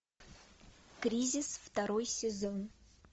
кризис второй сезон